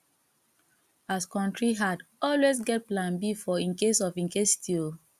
as kontry hard always get plan b for incase of incasity o